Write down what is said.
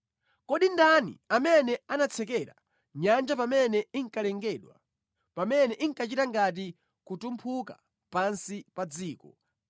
“Kodi ndani amene anatsekera nyanja pamene inkalengedwa, pamene inkachita ngati kutumphuka pansi pa dziko,